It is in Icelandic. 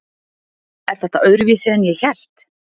Er þetta öðruvísi en ég hélt?